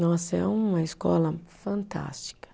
Nossa, é uma escola fantástica.